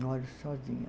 Moro sozinha.